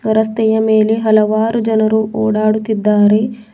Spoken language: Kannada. ರಸ್ತೆಯ ಮೇಲೆ ಹಲವಾರು ಜನರು ಓಡಾಡುತ್ತಿದ್ದಾರೆ.